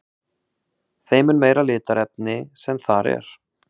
þeim mun meira litarefni sem þar er